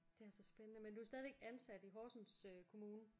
Det er altså spændende men du er stadigvæk ansat i Horsens kommune?